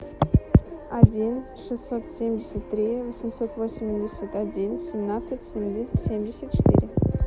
один шестьсот семьдесят три восемьсот восемьдесят один семнадцать семьдесят четыре